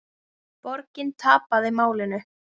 Borgin tapaði málinu.